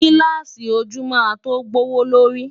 Gílààsì ojú máa tó gbówó lórí.